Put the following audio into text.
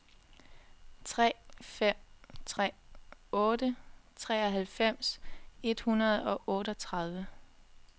tre fem tre otte treoghalvfems et hundrede og otteogtredive